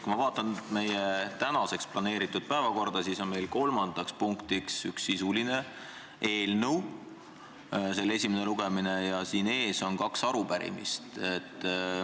Kui ma vaatan tänaseks planeeritud päevakorda, siis on meil kolmandaks punktiks üks sisuline eelnõu, selle esimene lugemine, ja selle ees on kaks arupärimist.